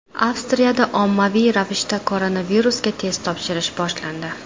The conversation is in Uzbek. Avstriyada ommaviy ravishda koronavirusga test topshirish boshlandi.